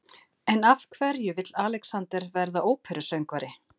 En af hverju vill Alexander verða óperusöngvari?